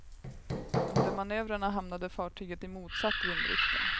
Under manövrerna hamnade fartyget i motsatt vindriktning.